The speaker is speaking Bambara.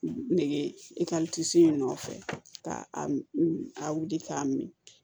Nege in nɔfɛ ka wili k'a min